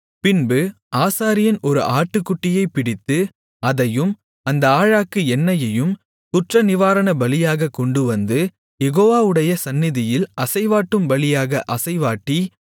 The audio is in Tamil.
பின்பு ஆசாரியன் ஒரு ஆட்டுக்குட்டியைப் பிடித்து அதையும் அந்த ஆழாக்கு எண்ணெயையும் குற்றநிவாரணபலியாகக் கொண்டுவந்து யெகோவாவுடைய சந்நிதியில் அசைவாட்டும் பலியாக அசைவாட்டி